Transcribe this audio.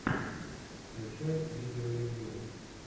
включай видеоревью